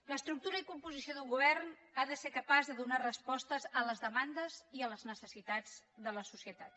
l’estructura i la composició d’un govern han de ser capaces de donar respostes a les demandes i a les necessitats de la societat